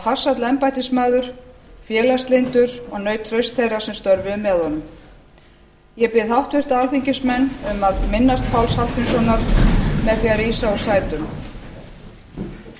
farsæll embættismaður félagslyndur og naut trausts þeirra sem störfuðu með honum ég bið háttvirta alþingismenn að minnast páls hallgrímssonar með því að rísa úr sætum